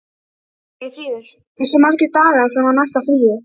Eyfríður, hversu margir dagar fram að næsta fríi?